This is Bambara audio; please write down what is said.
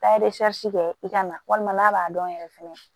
N'a ye kɛ i ka na walima n'a b'a dɔn yɛrɛ fɛnɛ